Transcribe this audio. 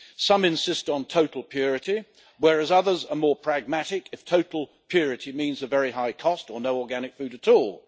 Some insist on total purity, whereas others are more pragmatic if total purity means a very high cost or no organic food at all.